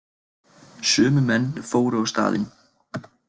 Sömu menn fóru á staðinn